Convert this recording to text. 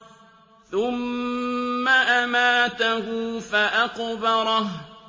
ثُمَّ أَمَاتَهُ فَأَقْبَرَهُ